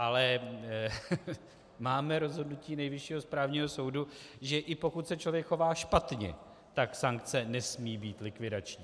Ale máme rozhodnutí Nejvyššího správního soudu, že i pokud se člověk chová špatně, tak sankce nesmí být likvidační.